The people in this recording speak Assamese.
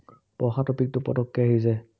পঢ়া topic টো পটক্কে আহি যায়।